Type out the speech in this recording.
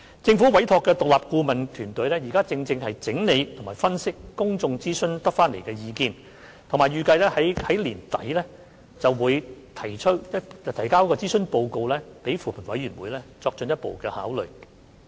政府委託的獨立顧問團隊正整理及分析在公眾諮詢期間蒐集到的意見，並預計在年底向扶貧委員會提交諮詢報告，以便作進一步考慮。